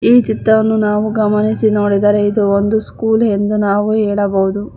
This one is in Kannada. ಈ ಚಿತ್ರವನ್ನು ನಾವು ಗಮನಿಸಿ ನೋಡಿದರೆ ಇದು ಒಂದು ಸ್ಕೂಲ್ ಎಂದು ನಾವು ಹೇಳಬಹುದು.